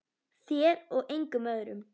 Þér og engum öðrum.